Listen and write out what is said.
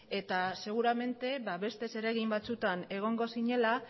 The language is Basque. eta seguramente beste zeregin batzuetan egongo zinela